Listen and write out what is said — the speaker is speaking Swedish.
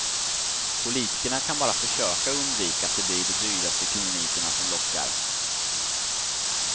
Politikerna kan bara försöka undvika att det blir de dyraste klinikerna som lockar.